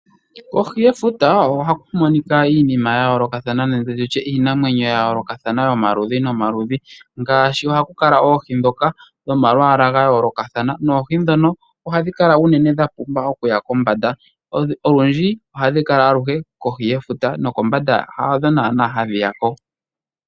Kohi yefuta ohaku monika iinima ya yoolokathana nenge tutye iinamwenyo ya yoolokathana yomaludhi nomaludhi. Ngaashi ohaku kala oohi ndhoka dhomalwaala ga yoolokathana. Noohi ndhono ohadhi kala unene dha pumba okuya kombanda. Olundji ohadhi kala aluhe kohi yefuta nokombanda hadho naanaa hadhi ya ko.